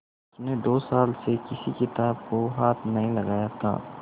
उसने दो साल से किसी किताब को हाथ नहीं लगाया था